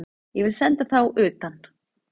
Ég vil senda þá utan!